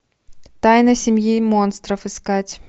тайна семьи монстров искать